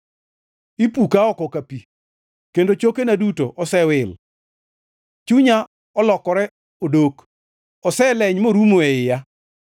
Ipuka oko ka pi, kendo chokena duto osewil. Chunya olokore odok; oseleny morumo e iya.